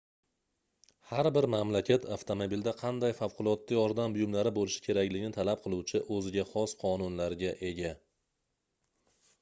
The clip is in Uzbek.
har bir mamlakat avtomobilda qanday favqulodda yordam buyumlari boʻlishi kerakligini talab qiluvchi oʻziga xos qonunlarga ega